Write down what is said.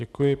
Děkuji.